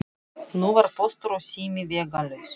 Nú var Póstur og sími vegalaus.